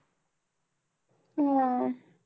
हा.